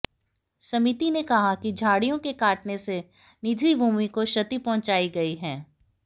समीति ने कहा कि झाडि़यों के कटान से निजी भूमि को क्षति पहुंचाई गई है